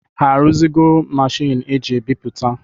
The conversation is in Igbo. A ruzigo Machiini eji ebiputa?